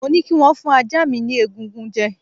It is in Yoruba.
Mo ní kī wón fún ajá mi ni egungun jẹ